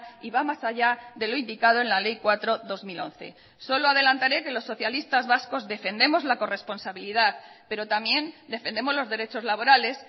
y va más allá de lo indicado en la ley cuatro barra dos mil once solo adelantaré que los socialistas vascos defendemos la corresponsabilidad pero también defendemos los derechos laborales